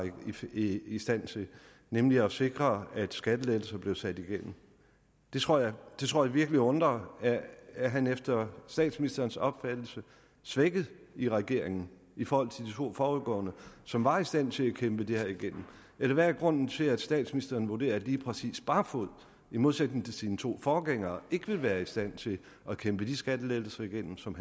i i stand til nemlig at sikre at skattelettelser blev sat igennem det tror jeg virkelig undrer er han efter statsministerens opfattelse svækket i regeringen i forhold til de to foregående som var i stand til at kæmpe det her igennem eller hvad er grunden til at statsministeren vurderer at lige præcis barfoed i modsætning til sine to forgængere ikke vil være i stand til at kæmpe de skattelettelser igennem som